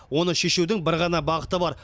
оны шешудің бір ғана бағыты бар